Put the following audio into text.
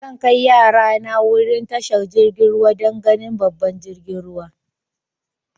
Zan kai yara na wurin tashar jirigin ruwa dan ganin babban jiragen ruwa.